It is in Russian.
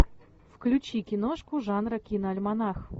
включи киношку жанра киноальманах